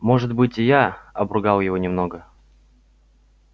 может быть я обругал его немного